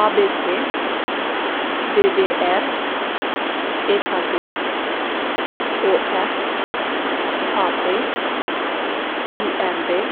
A B C; D D R; E K G; O F; H P; I M V;